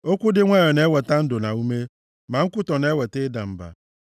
Okwu dị nwayọọ na-eweta ndụ na ume; ma nkwutọ na-eweta ịda mba.